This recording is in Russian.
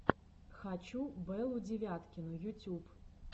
хочу беллу девяткину ютюб